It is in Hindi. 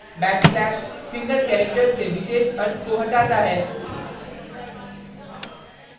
* backslash single character से विशेष अर्थ को हटाता है